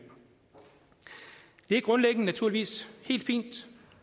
det er grundlæggende naturligvis helt fint